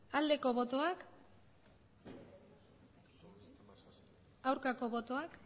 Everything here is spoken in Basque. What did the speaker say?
aldeko botoak aurkako botoak